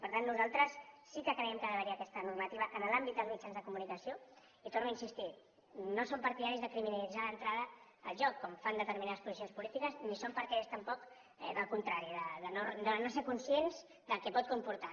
per tant nosaltres sí que creiem que ha d’haver hi aquesta normativa en l’àmbit dels mitjans de comunicació i hi torno a insistir no som partidaris de criminalitzar d’entrada el joc com fan determinades posicions polítiques ni som partidaris tampoc del contrari de no ser conscients del que pot comportar